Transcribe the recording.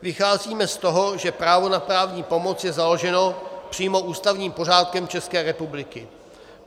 Vycházíme z toho, že právo na právní pomoc je založeno přímo ústavním pořádkem České republiky.